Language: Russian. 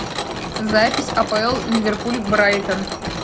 запись апл ливерпуль брайтон